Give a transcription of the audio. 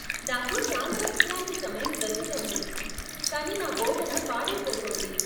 నాకు చాలా విశ్రాంతి సమయం దొరుకుతోంది కానీ నా బోధన పాడయిపోతోంది.